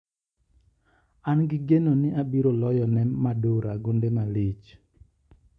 An gi geno ni abiro loyo ne Madura gonde malich.